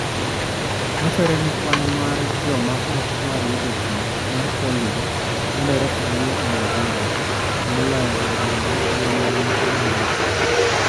Wachore ni kwan mar joma ok dwar yudo thieth mar polio medore ahinya e Nigeria, to moloyo e gwenge man yo nyandwat.